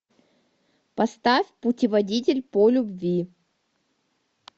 поставь путеводитель по любви